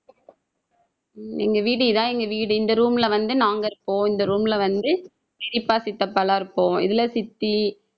எங்க வீடு இதான் எங்க வீடு. இந்த room ல வந்து நாங்க இருக்கோம். இந்த room ல வந்து பெரியப்பா சித்தப்பா எல்லாம் இருக்கும். இதுல சித்தி